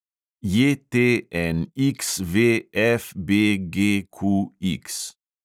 JTNXVFBGQX